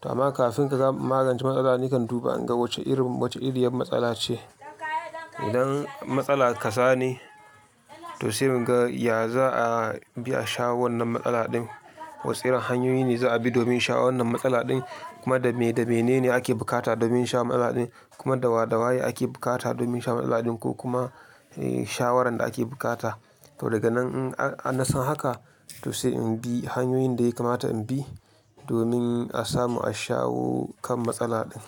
Tama kafin ka gama magance matsala nakan duba in ga wacce iri, wacce iriyar matsala ce. Idan matsala kaza ne, to sai in ga ya za a bi a shawo wannan matsala din. Wasu irin hanyoyi ne za a bi domin shawo wannan matsala din. Kuma da me, da mene ne ake bukata domin shawo matsala din. Kuma da wa, da waye ake bukata domin shawo matsala din ko kuma eh shawaran da ake bukata. To daga nan in a-na san haka to sai in bi hanyoyin da ya kamata in bi domin a samu a shawo kan matsala din.